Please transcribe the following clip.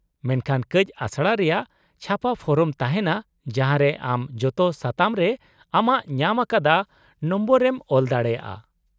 -ᱢᱮᱱᱠᱷᱟᱱ ᱠᱟᱹᱪ ᱟᱥᱲᱟ ᱨᱮᱭᱟᱜ ᱪᱷᱟᱯᱟ ᱯᱷᱚᱨᱚᱢ ᱛᱟᱦᱮᱱᱟ ᱡᱟᱦᱟᱸ ᱨᱮ ᱟᱢ ᱡᱚᱛᱚ ᱥᱟᱛᱟᱢ ᱨᱮ ᱟᱢᱟᱜ ᱧᱟᱢ ᱟᱠᱟᱫᱟ ᱱᱚᱢᱵᱚᱨ ᱮᱢ ᱚᱞ ᱫᱟᱲᱮᱭᱟᱜᱼᱟ ᱾